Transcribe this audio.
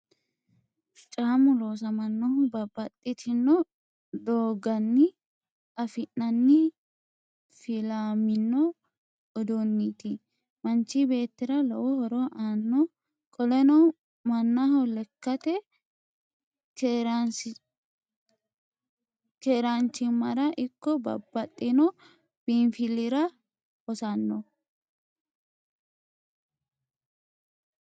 caamu loosammannohu babbaxxitino doogganni affi'nanni filamino uduniiti. maanchi beettira lowo horo aanno. qoleno mannaho lekkate keeraanchimmara ikko babbaxxino biinfilira hossanno.